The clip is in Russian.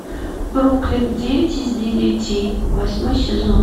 бруклин девять из девяти восьмой сезон